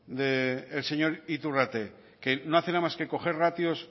del señor iturrate que no hace nada más que coger ratios